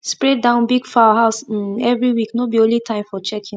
spray down big fowl house um every week no be only time for checking